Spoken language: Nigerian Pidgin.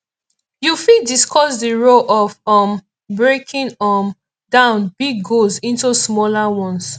you fit discuss di role of um breaking um down big goals into smaller ones